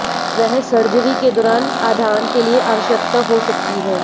वह सर्जरी के दौरान आधान के लिए आवश्यकता हो सकती है